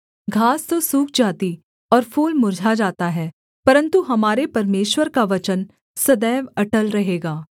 घास तो सूख जाती और फूल मुर्झा जाता है परन्तु हमारे परमेश्वर का वचन सदैव अटल रहेगा